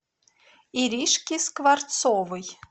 иришки скворцовой